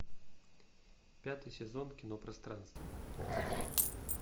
пятый сезон кино пространство